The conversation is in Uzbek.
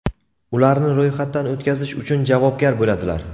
ularni ro‘yxatdan o‘tkazish uchun javobgar bo‘ladilar.